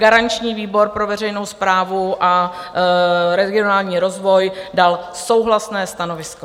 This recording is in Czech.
Garanční výbor pro veřejnou správu a regionální rozvoj dal souhlasné stanovisko.